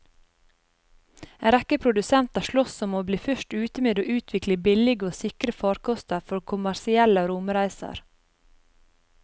En rekke produsenter sloss om å bli først ute med å utvikle billige og sikre farkoster for kommersielle romreiser.